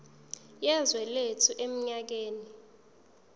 yezwe lethu eminyakeni